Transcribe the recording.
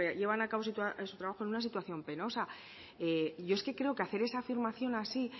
llevan a cabo su trabajo en una situación penosa yo es que creo que hacer esa afirmación así